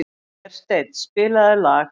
Hersteinn, spilaðu lag.